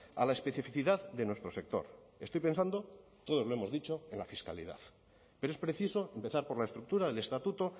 a la especificidad de nuestro sector estoy pensando todos lo hemos dicho en la fiscalidad pero es preciso empezar por la estructura del estatuto